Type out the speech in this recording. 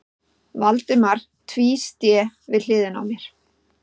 Valdimar tvísté við hlið mér.